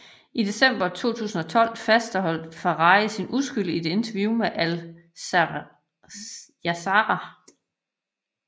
I december 2012 fastholdt Ferrari sin uskyld i et interview med Al Jazeera